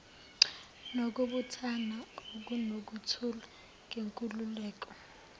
nokubuthana okunokuthula ngenkululeko